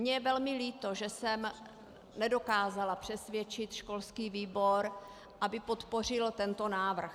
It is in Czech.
Mně je velmi líto, že jsem nedokázala přesvědčit školský výbor, aby podpořil tento návrh.